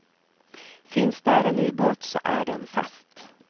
Finns där en ubåt så är den fast.